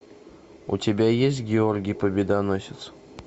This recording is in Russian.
у тебя есть георгий победоносец